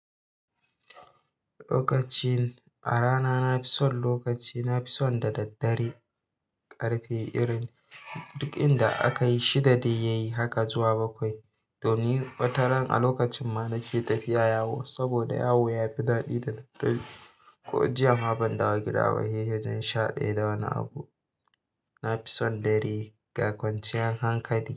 Lokacin a rana na fi son lokaci, na fi son da daddare. Karfe irin duk inda aka yi shida dai yayi haka zuwa bakwai. To ni wataran a lokacin ma nake tafiya yawo saboda yawo ya fi daɗi da daddare. Ko jiya ma ban dawo gida ba, hehe. Sha daya da wani abu, na fi son dare ga kwanciyar hankali.